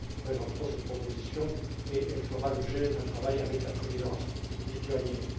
Nous présenterons cette proposition et elle fera l'objet d'un travail avec la Présidence lituanienne.